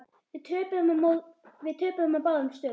Við töpuðum á báðum stöðum.